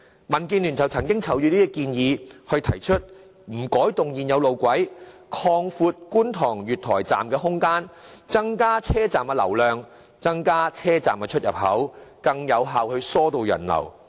民建聯曾就這方面提出在不改動現有路軌的原則下擴闊觀塘站月台空間的建議，以增加車站流量，並增加車站出入口，以更有效疏導人流。